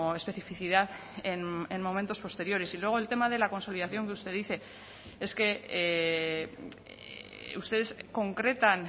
especificidad en momentos posteriores y luego el tema de la consolidación que usted dice es que ustedes concretan